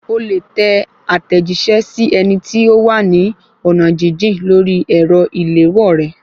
O lè tẹ àtẹ̀jíṣẹ́ sí ẹni tí ó wà ní ọ̀nà jíjìn lórí ẹ̀rọ ìléwọ́ rẹ